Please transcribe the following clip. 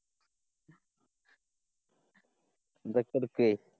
അതൊക്കെ എടുക്കെയ്